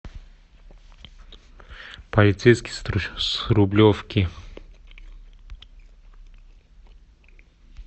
полицейский с рублевки